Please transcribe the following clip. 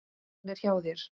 Hann er hjá þér.